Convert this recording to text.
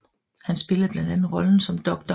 Han spillede blandt andet rollen som Dr